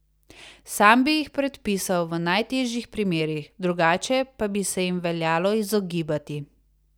Sam bi jih predpisal v najtežjih primerih, drugače pa bi se jim veljalo izogibati.